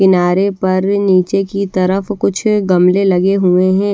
किनारे पर निचे कि तरफ कुछ गमले लगे हुए है।